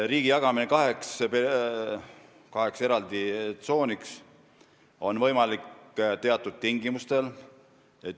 Riigi jagamine kaheks tsooniks on võimalik teatud tingimustel.